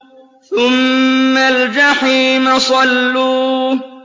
ثُمَّ الْجَحِيمَ صَلُّوهُ